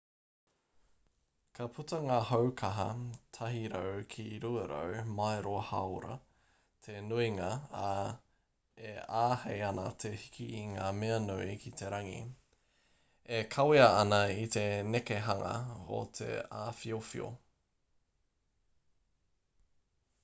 ka puta ngā hau kaha 100-200 mairo/haora te nuinga ā e āhei ana te hiki i ngā mea nui ki te rangi e kawea ana i te nekehanga o te awhiowhio